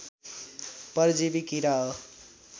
परजीवी किरा हो